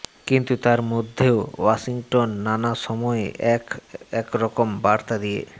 কিন্তু তার মধ্যেও ওয়াশিংটন নানা সময়ে এক একরকম বার্তা দিয়ে